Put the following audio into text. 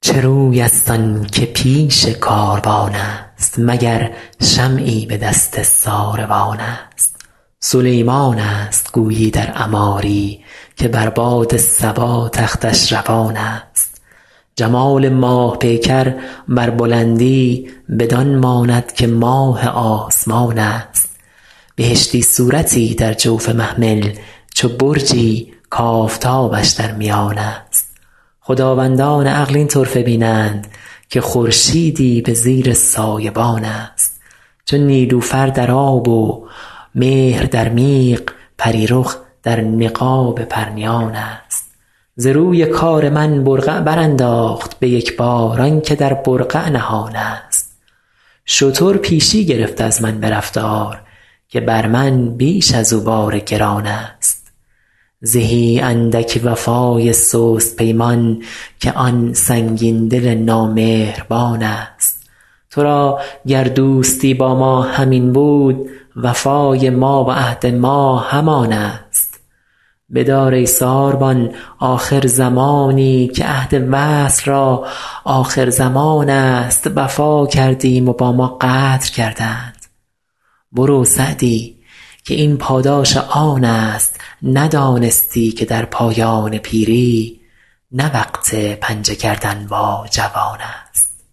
چه روی است آن که پیش کاروان است مگر شمعی به دست ساروان است سلیمان است گویی در عماری که بر باد صبا تختش روان است جمال ماه پیکر بر بلندی بدان ماند که ماه آسمان است بهشتی صورتی در جوف محمل چو برجی کآفتابش در میان است خداوندان عقل این طرفه بینند که خورشیدی به زیر سایبان است چو نیلوفر در آب و مهر در میغ پری رخ در نقاب پرنیان است ز روی کار من برقع برانداخت به یک بار آن که در برقع نهان است شتر پیشی گرفت از من به رفتار که بر من بیش از او بار گران است زهی اندک وفای سست پیمان که آن سنگین دل نامهربان است تو را گر دوستی با ما همین بود وفای ما و عهد ما همان است بدار ای ساربان آخر زمانی که عهد وصل را آخرزمان است وفا کردیم و با ما غدر کردند برو سعدی که این پاداش آن است ندانستی که در پایان پیری نه وقت پنجه کردن با جوان است